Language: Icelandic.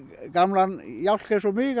gamlan jálk eins og mig